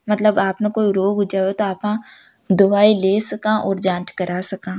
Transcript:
मतलब आप ने कोई रोग हु जावो तो आपा दवाई ले सका और जाँच करा सका।